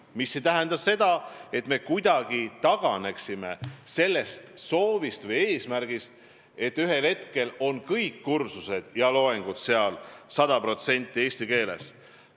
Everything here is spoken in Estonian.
Mis ei tähenda seda, et me kuidagi taganeksime sellest eesmärgist, et ühel hetkel on kõik kursused ja loengud seal sada protsenti eesti keeles.